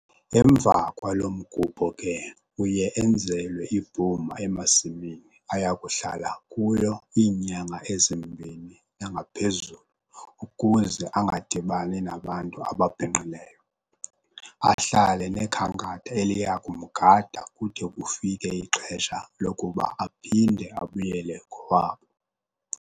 Emva kwalo mgubho ke uye enzelwe ibhuma emasimini ayakuhlala kuyo iinyanga ezimbini nangaphezulu ukuze angadibani nabantu ababhinqileyo. Ahlale nekhankatha eliya kumgada kude kufike ixesha lokuba aphinde abuyele kowabo.